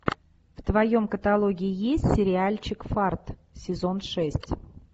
в твоем каталоге есть сериальчик фарт сезон шесть